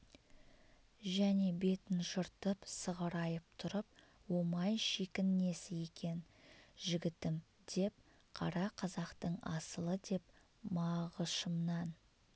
және бетін жыртып сығырайып тұрып омай шикін несі екен жігітім деп қара қазақтың асылы деп мағышымнан